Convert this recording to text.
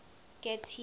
getty